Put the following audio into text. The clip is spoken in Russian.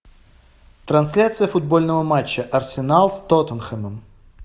трансляция футбольного матча арсенал с тоттенхэмом